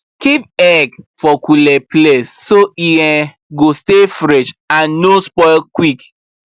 keep egg for cool um place so e um go stay fresh and no spoil quick